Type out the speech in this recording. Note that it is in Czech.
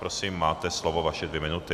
Prosím, máte slovo, vaše dvě minuty.